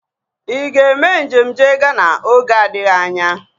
Ị ga-eme njem jee Ghana oge adịghị anya?